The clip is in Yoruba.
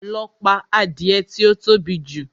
Lọ pa adìẹ tí ó tóbi jù!